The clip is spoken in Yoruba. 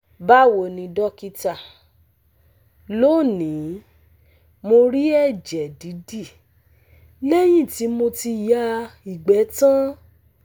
Bawo ni dókítà, lónìí, mo rí ẹ̀jẹ̀ didi lẹ́yìn tí mo ti ya igbe tan